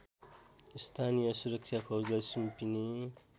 स्थानीय सुरक्षाफौजलाई सुम्पिने